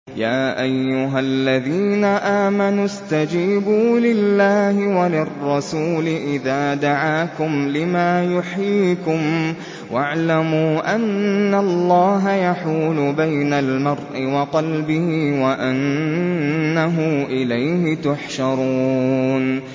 يَا أَيُّهَا الَّذِينَ آمَنُوا اسْتَجِيبُوا لِلَّهِ وَلِلرَّسُولِ إِذَا دَعَاكُمْ لِمَا يُحْيِيكُمْ ۖ وَاعْلَمُوا أَنَّ اللَّهَ يَحُولُ بَيْنَ الْمَرْءِ وَقَلْبِهِ وَأَنَّهُ إِلَيْهِ تُحْشَرُونَ